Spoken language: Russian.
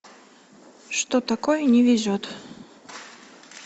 что такое не везет